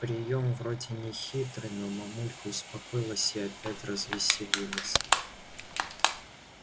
приём вроде нехитрый но мамулька успокоилась и опять развеселилась